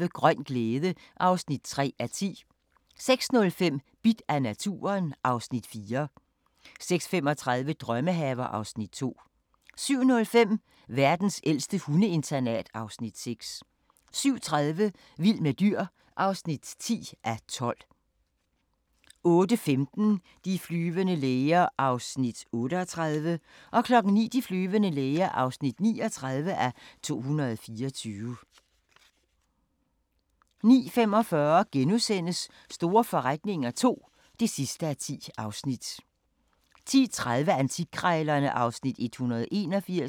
05:35: Grøn glæde (3:10) 06:05: Bidt af naturen (Afs. 4) 06:35: Drømmehaver (Afs. 2) 07:05: Verdens ældste hundeinternat (Afs. 6) 07:30: Vild med dyr (10:12) 08:15: De flyvende læger (38:224) 09:00: De flyvende læger (39:224) 09:45: Store forretninger II (10:10)* 10:30: Antikkrejlerne (Afs. 181)